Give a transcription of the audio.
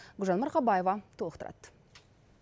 гүлжан марқабаева толықтырады